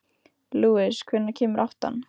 Lúis, hvenær kemur áttan?